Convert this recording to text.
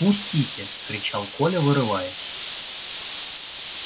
пустите кричал коля вырываясь